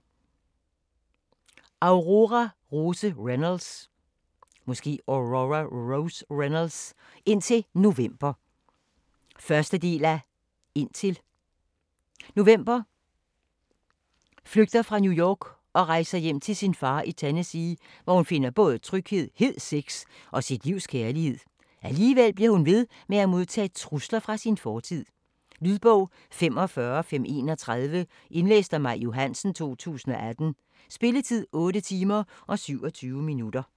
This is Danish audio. Reynolds, Aurora Rose: Indtil November 1. del af Indtil. November flygter fra New York og rejser hjem til sin far i Tennessee, hvor hun finder både tryghed, hed sex og sit livs kærlighed. Alligevel bliver hun ved med at modtage trusler fra sin fortid. Lydbog 45531 Indlæst af Maj Johansen, 2018. Spilletid: 8 timer, 27 minutter.